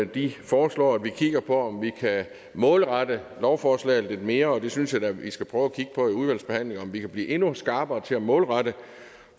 de foreslår at vi kigger på om vi kan målrette lovforslaget lidt mere og det synes jeg da vi skal prøve at kigge på i udvalgsbehandlingen altså om vi kan blive endnu skarpere til at målrette